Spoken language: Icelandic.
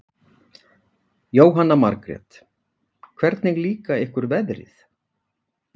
Jóhanna Margrét: Hvernig líka ykkur veðrið?